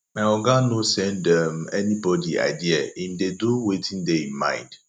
my oga no send um anybodi idea im dey do wetin dey im mind